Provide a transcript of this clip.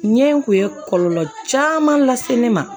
Ɲɛ in kun ye kɔlɔlɔ caman lase ne ma